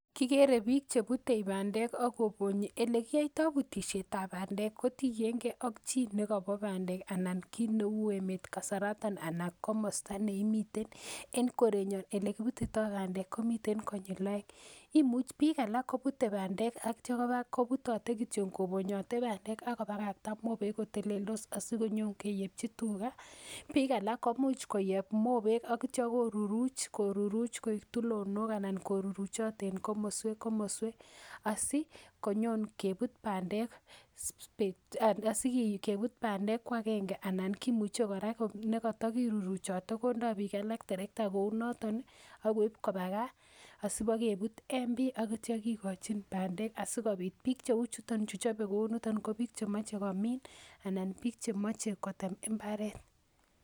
Kikere bik chebute bandek ak kobonyi elekiyoito butishetab bandek ii kotiengee chi ak nekobo bandek anan kit neu emet kasaraton anan komosta neimiten, en korenyon elekibutito bandek komiten konyil oeng imuch bik alak kobute bandek ak itio kobaa kobutote kityok bandek ak kobokotote mobek koteleltos asikenyonkeyechi tugaa, bik alak koimuch koyeb mobek ak itio koruruch, koruruch koik tulonok anak koruruchot en komoswek, komoswek asikenyon kebut bendek bik choton sikebut bandek kwagenge, anan kimuche koraa nekotokiruruchote kondo bik alak terekta kounoton ii ak keib kobaa kaa asibokebut en bii ak itio kikochin bandek asikobit bik chue chuton chu choben kouniton kobik chemoche komin anan bik chemoche kotem imbaret.